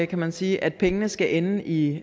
kan man sige at pengene skal ende i